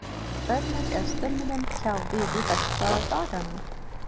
Hvernig er stemningin hjá Víði þessa dagana?